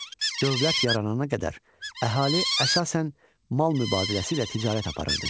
Dövlət yaranana qədər əhali əsasən mal mübadiləsi ilə ticarət aparırdı.